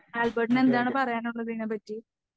ആൽബർട്ടിന് എന്താണ് പറയാനുള്ളത് ഇതിനെപറ്റി?